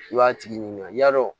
I b'a tigi ɲininka yalo